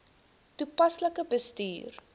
toepaslik bestuur